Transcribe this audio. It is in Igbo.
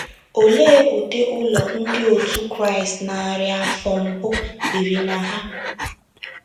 Olee ụdị ụlọ Ndị òtù Kraịst narị afọ mbụ biri na ha?